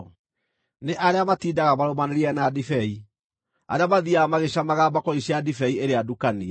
Nĩ arĩa matindaga marũmanĩrĩire na ndibei, arĩa mathiiaga magĩcamaga mbakũri cia ndibei ĩrĩa ndukanie.